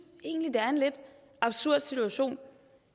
egentlig det er en lidt absurd situation